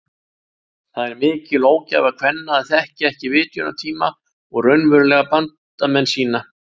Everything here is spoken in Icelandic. Það er mikil ógæfa kvenna að þekkja ekki vitjunartíma og raunverulega bandamenn sína.